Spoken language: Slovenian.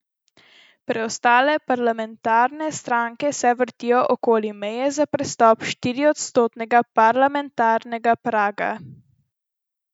Preostale parlamentarne stranke se vrtijo okoli meje za prestop štiriodstotnega parlamentarnega praga.